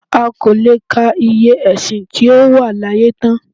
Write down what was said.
A kò lè ka iye ẹ̀sìn tí ó wà láyé tán